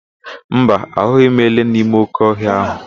Mba, ahụghị m ele n'ime óké ọhịa ahụ.